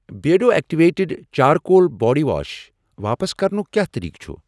Beardo activated charcoal body wash واپس کرنُک کیٛاہ طریٖقہٕ چھ؟